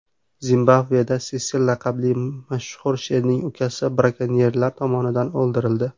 Zimbabveda Sesil laqabli mashhur sherning ukasi brakonyerlar tomonidan o‘ldirildi.